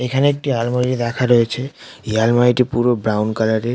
এখানে একটি আলমারি রাখা রয়েছে আলমারি টি পুরো ব্রাউন কালার এর।